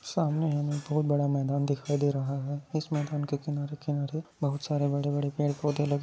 सामने हमे बहुत बड़ा मैदान दिखाई दे रहा है इस मैदान के किनारे-किनारे बहुत सारे बड़े-बड़े पेड़ पौधे लगे--